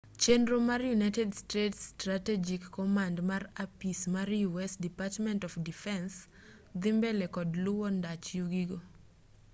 chenro mar united states strategic command mar apis mar u s department of defense dhi mbele kod luwo ndach yugi go